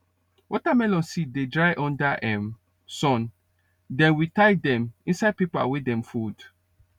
watermelon seed dey dry under um sun then we tie dem inside paper wey dem fold